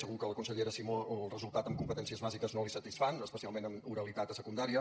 segur que a la consellera simó els resultats en competències bàsiques no la satisfan especialment en oralitat a secundària